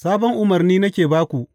Sabon umarni nake ba ku.